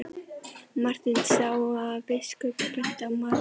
Marteinn sá að biskup benti á Maríu.